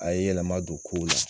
A ye yɛlɛma don kow la